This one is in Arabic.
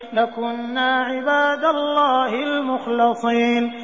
لَكُنَّا عِبَادَ اللَّهِ الْمُخْلَصِينَ